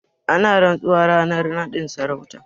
Ana rantsuwa ranar naɗin sarauta.